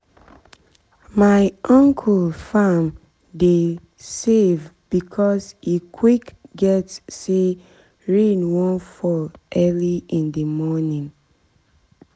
my uncle farm dey save because e quick get say rain wan fall early in the morning